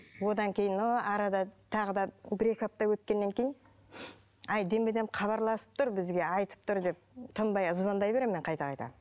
одан кейін ол арада тағы да бір екі апта өткеннен кейін әй деме дем хабарласып тұр бізге айтып тұр деп тынбай звондай беремін мен қайта қайта